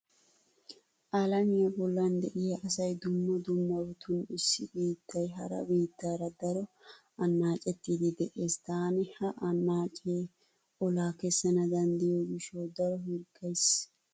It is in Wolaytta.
Alamiya bollan de'iya asay dumma dummabatun issi biittay hara biittaara daro annaacettiiddi de'ees. Taani ha annaacee olaa kessana danddayiyo gishshawu daro hirggays.